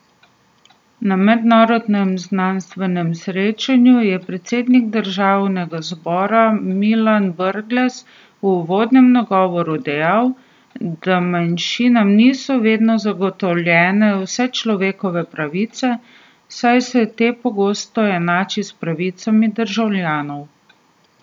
Na mednarodnem znanstvenem srečanju je predsednik državnega zbora Milan Brglez v uvodnem nagovoru dejal, da manjšinam niso vedno zagotovljene vse človekove pravice, saj se te pogosto enači s pravicami državljanov.